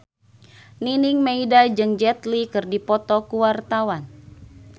Nining Meida jeung Jet Li keur dipoto ku wartawan